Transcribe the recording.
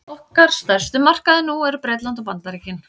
okkar stærstu markaðir nú eru bretland og bandaríkin